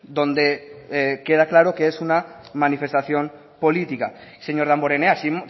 donde queda claro que es una manifestación política señor damborenea si